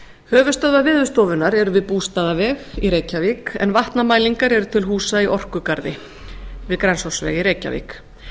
höfuðstöðvar veðurstofunnar eru við bústaðaveg í reykjavík en vatnamælingar eru til húsa í orkugarði við grensásveg í reykjavík